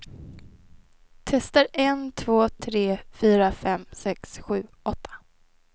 Testar en två tre fyra fem sex sju åtta.